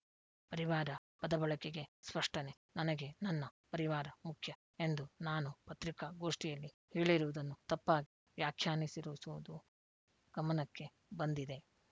ಪರಿವಾರ ಪದಬಳಕೆಗೆ ಸ್ಪಷ್ಟನೆ ನನಗೆ ನನ್ನ ಪರಿವಾರ ಮುಖ್ಯ ಎಂದು ನಾನು ಪತ್ರಿಕಾಗೋಷ್ಠಿಯಲ್ಲಿ ಹೇಳಿರುವುದನ್ನು ತಪ್ಪಾಗಿ ವ್ಯಾಖ್ಯಾನಿಸಿರುವುದೂ ಗಮನಕ್ಕೆ ಬಂದಿದೆ